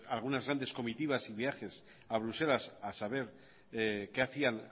algunas grandes comitivas y viajes a bruselas a saber qué hacían